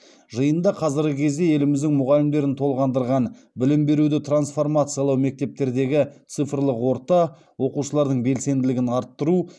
жиында қазіргі кезде еліміздің мұғалімдерін толғандырған білім беруді трансформациялау мектептердегі цифрлық орта оқушылардың белсенділігін арттыру